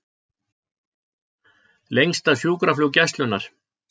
Lengsta sjúkraflug Gæslunnar